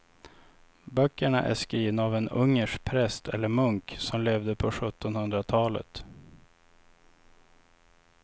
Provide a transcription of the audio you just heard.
Böckerna är skrivna av en ungersk präst eller munk som levde på sjuttonhundratalet.